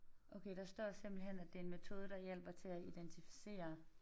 Okay der står simpelthen at det en metode der hjælper til at identificere